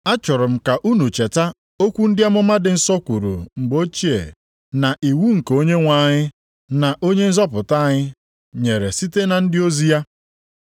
Achọrọ m ka unu cheta okwu ndị amụma dị nsọ kwuru mgbe ochie na iwu nke Onyenwe anyị na Onye nzọpụta anyị nyere site na ndị ozi ya.